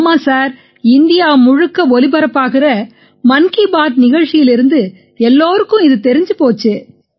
ஆமாம் sir India முழுக்க ஒலிபரப்பாகுற மன் கீ பாத் நிகழ்ச்சியிலிருந்து எல்லாருக்கும் இது தெரிஞ்சு போச்சு